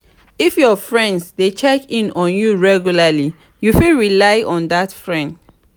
if your friends de check in on you regularly you fit rely on dat friend